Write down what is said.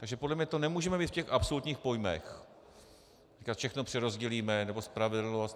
Takže podle mě to nemůžeme mít v těch absolutních pojmech, říkat všechno přerozdělíme, nebo spravedlnost.